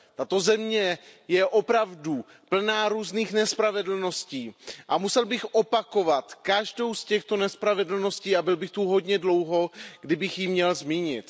Tato země je opravdu plná různých nespravedlností a musel bych opakovat každou z těchto nespravedlností a byl bych tu hodně dlouho, kdybych je měl zmínit.